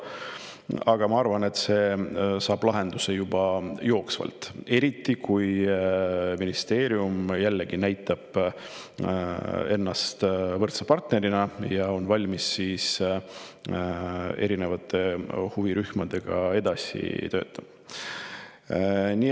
Aga ma arvan, et see saab lahenduse juba jooksvalt, eriti kui ministeerium näitab ennast võrdse partnerina ja on valmis erinevate huvirühmadega edasi töötama.